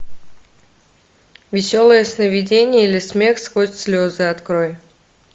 веселое сновидение или смех сквозь слезы открой